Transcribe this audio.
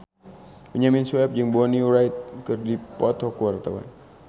Benyamin Sueb jeung Bonnie Wright keur dipoto ku wartawan